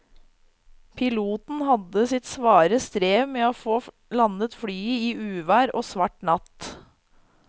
Piloten hadde sitt svare strev med å få landet flyet i uvær og svart natt.